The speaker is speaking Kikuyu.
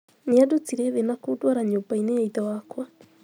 Nĩandutire thìì na kũdwara nyũmbainì ya ithe wakwa.